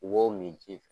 Wo min ji